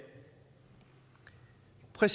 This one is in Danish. er